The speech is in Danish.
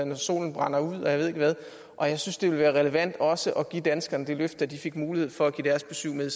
når solen brænder ud og jeg ved ikke hvad og jeg synes det ville være relevant også at give danskerne det løfte at de fik mulighed for at give deres besyv med